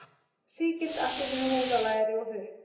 Sígild appelsínuhúð á læri og hupp.